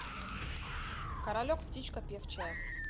королек птичка певчая